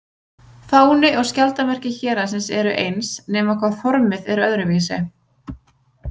Fáni og skjaldarmerki héraðsins eru eins, nema hvað formið er öðruvísi.